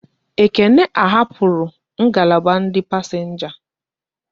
Ekene ahapura ngalaba ndị pasenga